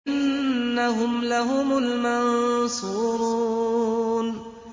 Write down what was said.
إِنَّهُمْ لَهُمُ الْمَنصُورُونَ